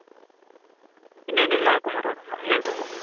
ಇನೇನ್ ಎಲ್ಲ ಕುಮಾರ್ ಅವರೆ ಹೇಳ್ಬೇಕು